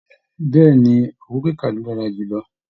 Bẹ̀ẹ́ni, owó kíkà lo dára jù lọ.